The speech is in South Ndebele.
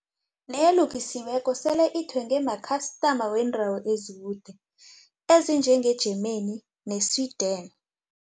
nelukiweko sele ithengwe makhastama weendawo ezikude ezinjenge-Germany ne-Sweden.